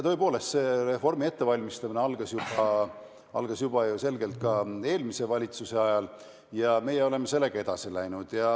Tõepoolest, reformi ettevalmistamine algas juba eelmise valitsuse ajal ja me oleme sellega edasi läinud.